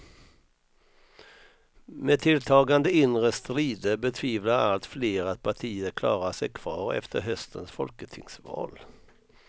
Med tilltagande inre strider betvivlar allt fler att partiet klarar sig kvar efter höstens folketingsval.